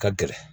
Ka gɛlɛn